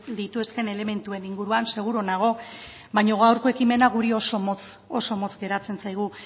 lituzkeen elementuen inguruan seguru nago baina gaurko ekimena oso motz oso motz geratzen zaigu